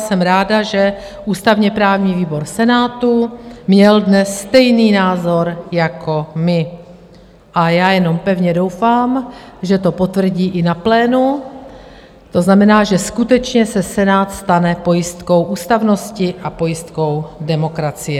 Jsem ráda, že ústavně-právní výbor Senátu měl dnes stejný názor jako my, a já jenom pevně doufám, že to potvrdí i na plénu, to znamená, že skutečně se Senát stane pojistkou ústavnosti a pojistkou demokracie.